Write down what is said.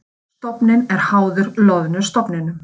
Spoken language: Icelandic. Þorskstofninn er háður loðnustofninum